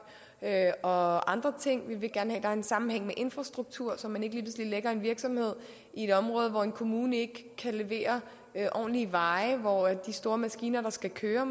og andre ting vi vil gerne er en sammenhæng med infrastrukturen så man ikke lige pludselig lægger en virksomhed i et område hvor en kommune ikke kan levere ordentlige veje og hvor de store maskiner der skal køre